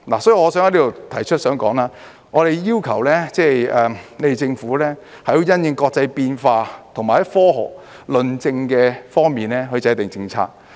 所以我想在此提出，我想說，我們要求政府因應國際上的變化，以及從科學論證方面來制訂政策。